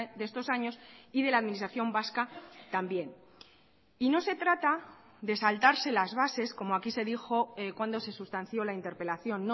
de estos años y de la administración vasca también y no se trata de saltarse las bases como aquí se dijo cuando se sustanció la interpelación